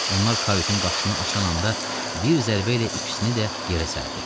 Onlar kayutun qapısını açan anda bir zərbə ilə ikisini də yerə sərdi.